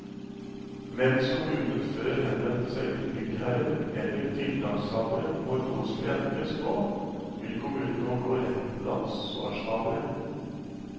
Mens kommunen før henvendte seg til byggherren eller tiltakshaveren når noe skulle endres på, vil kommunen nå gå rett til ansvarshaveren.